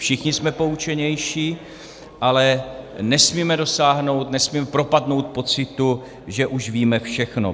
Všichni jsme poučenější, ale nesmíme dosáhnout, nesmíme propadnout pocitu, že už víme všechno.